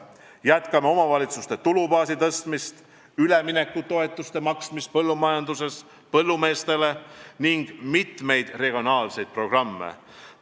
Jätkame omavalitsuste tulubaasi suurendamist, üleminekutoetuste maksmist põllumeestele ning mitut regionaalset programmi.